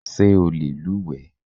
Ṣé o lè luwẹ̀ẹ́?